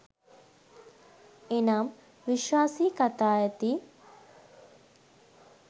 එනම්, විශ්වාසී කතා ඇති